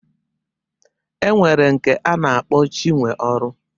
E nwere nke a na-akpọ Chinweọrụ.